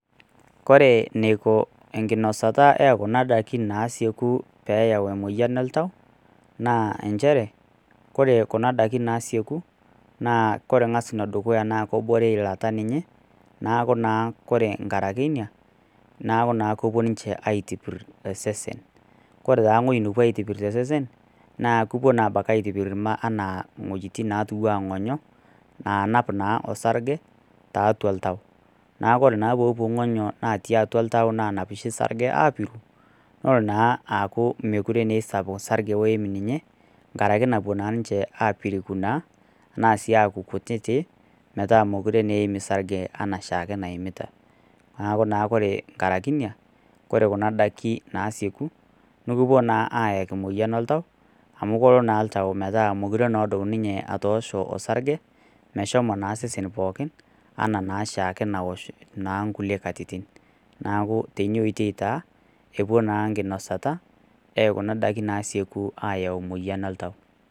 Ore eneiko enkinosata e kuna daikin naasieku pee eyau emoyian oltau, naa nchere kure kuna daikin naasieku, naa kore ang'as enee dukuya naa ebore eilata ninye, neaku naa kore enkaraki ena, neaku naa kepuo ninche aitipir osesen. Kore taa ewueji napuoi aitipir tosesen, naa kepuo naa aitipir iwuejitin natiu ana ing'onyo naanap naa osarge, tiatua oltau, neaku ore naa pee epuku ng'oyo naanap oshi osarge aapiru, nelo naa aaku me aisapuk osarge loim ninye, enkaraki napuo ninche aapiriku naa anaa sii aaku kutiti, metaa naa mekure eim osarge anaaoashike naimita. Neaku naa ore enkaraki ina, kore kuna daikin naasieku, nekipuo naa ayaki emoyian oltau, amu kelo naa oltau aaku mekure naa edup ninye atoosho osarge, meshomo naa osesen pookin, anaa oshieke naosh naa inkulie katitin. Neaku teina oitoi taa epuo naa enkinosata e kuna daiki naasieku aayau emoyian oltau.